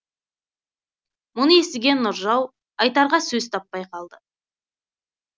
мұны естіген нұржау айтарға сөз таппай қалды